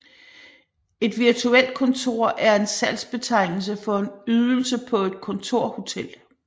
Et Virtuelt kontor er en salgsbetegnelse for en ydelse på et kontorhotel